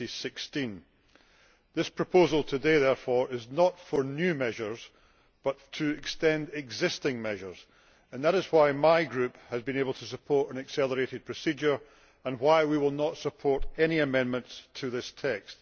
2016. The proposal today, therefore, is not for new measures but for an extension of existing measures, and that is why my Group has been able to support an accelerated procedure and why we will not support any amendments to this text.